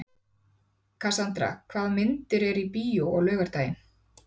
Kassandra, hvaða myndir eru í bíó á laugardaginn?